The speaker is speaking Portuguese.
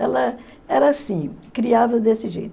Ela era assim, criava desse jeito.